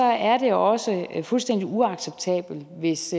er det også fuldstændig uacceptabelt hvis